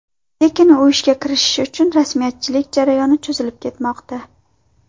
Lekin u ishga kirishishi uchun rasmiyatchilik jarayoni cho‘zilib ketmoqda.